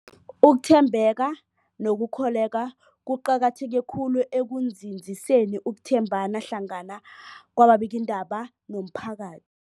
Ukuthembeka nokukholweka kuqakatheke khulu ekunzinziseni ukuthembana hlangana kwababikiindaba nomphaka